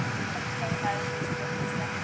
Pabbi flögraði um í listrænni stemmningu.